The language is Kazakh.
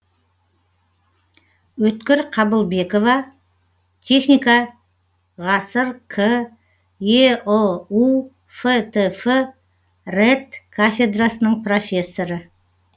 өткір қабылбекова техника ғасыр к еұу фтф рэт кафедрасының профессоры